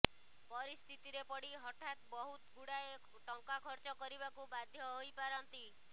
ପରିସ୍ଥିତିରେ ପଡି ହଠାତ୍ ବହୁତ୍ ଗୁଡାଏ ଟଙ୍କା ଖର୍ଚ୍ଚକରିବାକୁ ବାଧ୍ୟ ହୋଇପାରନ୍ତି